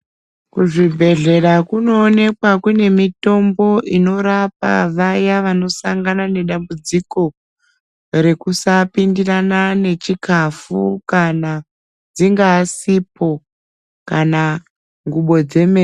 Kuzvibhedhlera kunoonekwa kune mitombo inorapa vaya vanosangana nedambudziko rekusaapindirana nechikafu kana dzingaa sipo kana ngubo dzemene.